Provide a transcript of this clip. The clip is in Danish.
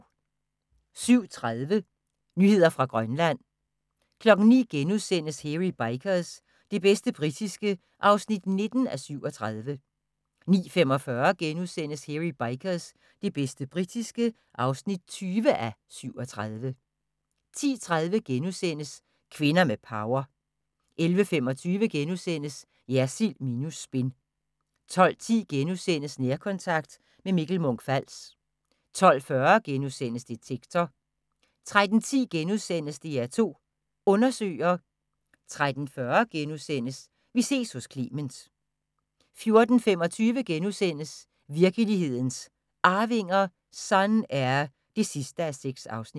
07:30: Nyheder fra Grønland 09:00: Hairy Bikers – det bedste britiske (19:37)* 09:45: Hairy Bikers – det bedste britiske (20:37)* 10:30: Kvinder med power * 11:25: Jersild minus spin * 12:10: Nærkontakt – med Mikkel Munch-Fals * 12:40: Detektor * 13:10: DR2 Undersøger * 13:40: Vi ses hos Clement * 14:25: Virkelighedens Arvinger: Sun-Air (6:6)*